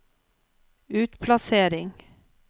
utplassering